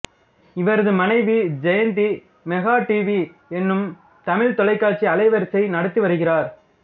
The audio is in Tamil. இவரது மனைவி ஜெயந்தி மெகா டிவி எனும் தமிழ்த் தொலைக்காட்சி அலைவரிசையை நடத்தி வருகிறார்